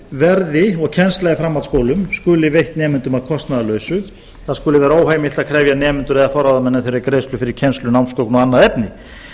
verði og kennsla í framhaldsskólum skuli veitt nemendum að kostnaðarlausu það skuli vera óheimilt að krefja nemendur eða forráðamenn þeirra um greiðslu fyrir kennslu námsgögn og annað efni